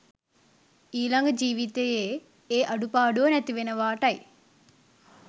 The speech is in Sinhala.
ඊළඟ ජීවිතයේ ඒ අඩුපාඩුව නැතිවෙනවාටයි.